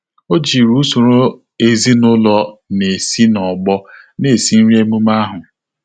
Ọ́ jìrì usoro ezinụlọ nà-èsí n’ọ́gbọ́ nà-èsí nrí ememe ahụ.